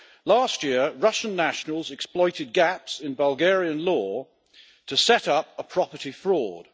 Last year, Russian nationals exploited gaps in Bulgarian law to set up a property fraud.